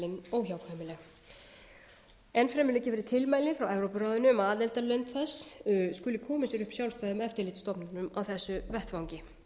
óhjákvæmileg enn fremur liggja fyrir tilmæli frá evrópuráðinu um að aðildarlönd þess skuli koma sér upp sjálfstæðum eftirlitsstofnunum á þessum vettvangi